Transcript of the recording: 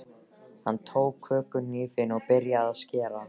Hann tók kökuhnífinn og byrjaði að skera.